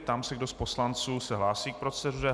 Ptám se, kdo z poslanců se hlásí k proceduře.